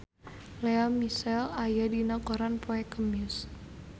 Lea Michele aya dina koran poe Kemis